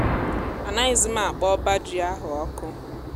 a naghịzim akpọ ọbá ji ahú ọkụ